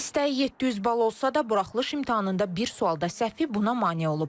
İstəyi 700 bal olsa da, buraxılış imtahanında bir sualda səhvi buna mane olub.